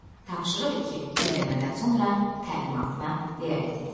Tapşırıq iki: dinləmədən sonra təlimatına riayət et.